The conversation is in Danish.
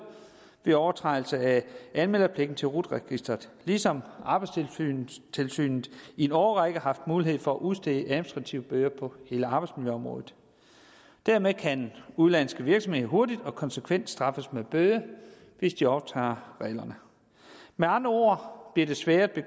ved overtrædelse af anmelderpligten til rut registeret ligesom arbejdstilsynet i en årrække har haft mulighed for at udstede administrative bøder på hele arbejdsmiljøområdet dermed kan udenlandske virksomheder hurtigt og konsekvent straffes med bøde hvis de overtræder reglerne med andre ord bliver det sværere